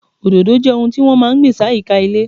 Òdòdó jẹ́ ohun tí wọ́n máa ń gbìn sáyìíká ilé.